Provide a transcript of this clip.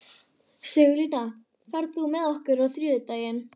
Sigurlína, ferð þú með okkur á þriðjudaginn?